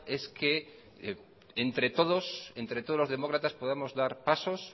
es que entre todos entre todos los demócratas podamos dar pasos